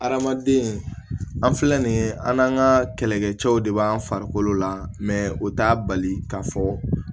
Hadamaden an filɛ nin ye an n'an ka kɛlɛkɛ cɛw de b'an farikolo la o t'a bali k'a fɔ